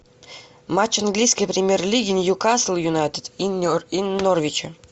матч английской премьер лиги ньюкасл юнайтед и норвича